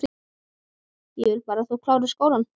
Ég vil bara að þú klárir skólann